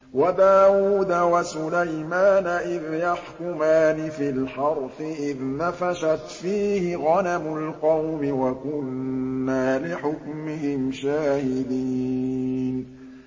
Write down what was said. وَدَاوُودَ وَسُلَيْمَانَ إِذْ يَحْكُمَانِ فِي الْحَرْثِ إِذْ نَفَشَتْ فِيهِ غَنَمُ الْقَوْمِ وَكُنَّا لِحُكْمِهِمْ شَاهِدِينَ